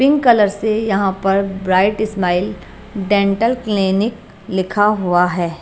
Pink colour से यहां पर ब्राइट स्माइल डेंटल क्लिनिक लिखा हुआ है।